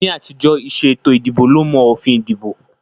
Ní àtijọ́, ìṣe ètò ìdìbò ló mọ òfin ìdìbò